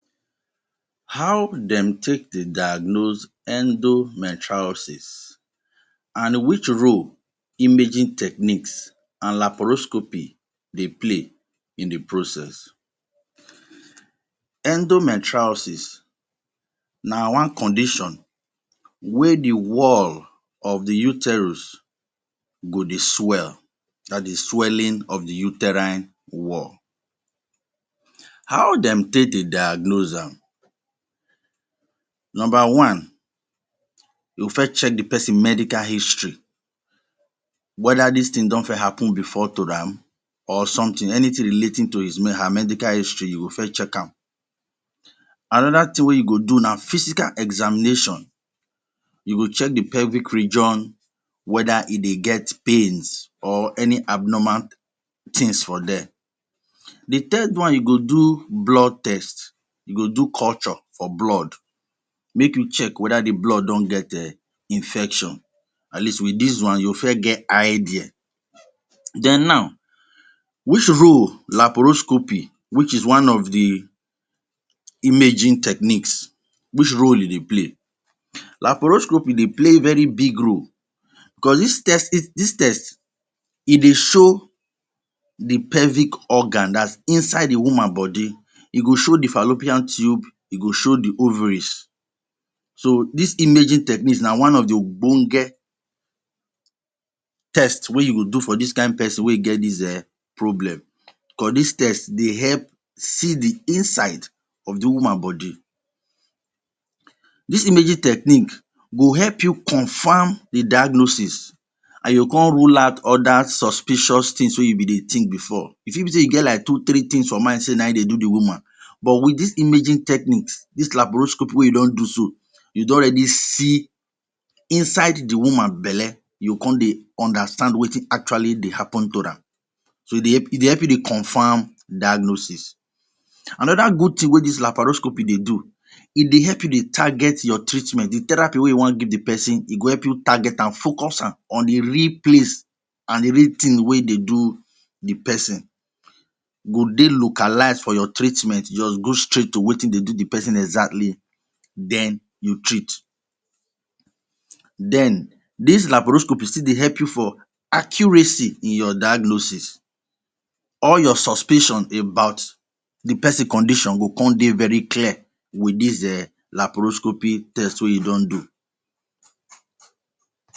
How dem take dey diagnose endometriosis an which role imaging techniques and laparoscopy dey play in the process? Endometriosis na one condition wey the wall of the uterus go dey swell. That is, swelling of the uterine wall. How dem take dey diagnose am? Nomba one, you first check the peson medical history whether dis tin don first happen before to am or something. Anything relating to his her medical history, you go first check am. Another tin wey you go do na physical examination. You go check the pelvic region whether e dey get pains or any abnormal tins for there. The third one, you go do blood test –you go do culture for blood. Make you check whether the blood don get um infection. At least, with dis one, you first get idea. Then now, which role laparoscopy which is one of the imaging techniques which role e dey play? Laparoscopy dey play very big role becos dis test dis test, e dey show the pelvic organ dat’s inside the woman body. E go show the fallopian tube, e go show the ovaries. So, dis imaging technique na one of the ogbonge test wey you go do for dis kain peson wey get dis um problem. Becos dis test dey help see the inside of the woman body. Dis imaging technique go help you confam the diagnosis an you go con rule out other suspicious tins wey you be dey think before. E fit be sey you get like two three tins for mind sey na ein dey do the woman, but with this imaging techniques –dis laparoscopy wey you don do so– you don ready see inside the woman belle. You go con dey understand wetin actually dey happen to am. So e dey help e dey help you dey confam diagnosis. Another good tin wey dis laparoscopy dey do, e dey help you dey target your treatment –the therapy wey you wan give the peson– e go help you target am, focus am on the real place an the real tin wey dey do the peson o dey localize for your treatment. You juz go straight to wetin dey do the peson exactly. Then, you treat. Then, dis laparoscopy still dey help you for accuracy in your diagnosis. All your suspicion about the peson condition go con dey very clear with dis um laparoscopy test wey you don do.